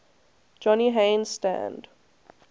johnny haynes stand